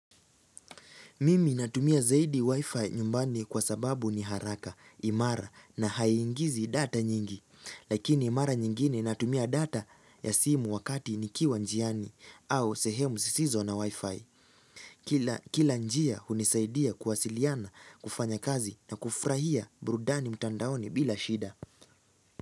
Mimi natumia zaidi wifi nyumbani kwa sababu ni haraka, imara na haiingizi data nyingi. Lakini mara nyingine natumia data ya simu wakati nikiwa njiani au sehemu sisizo na wifi. Kila njia hunisaidia kuwasiliana, kufanya kazi na kufurahia burudani mtandaoni bila shida.